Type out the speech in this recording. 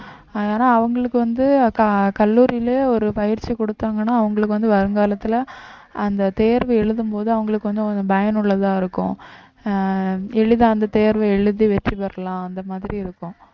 அதனால அவங்களுக்கு வந்து க~ கல்லூரியில ஒரு பயிற்சி கொடுத்தாங்கன்னா அவங்களுக்கு வந்து வருங்காலத்துல அந்த தேர்வு எழுதும்போது அவங்களுக்கு வந்து கொஞ்சம் பயனுள்ளதா இருக்கும் அஹ் எளிதா அந்த தேர்வை எழுதி வெற்றி பெறலாம் அந்த மாதிரி இருக்கும்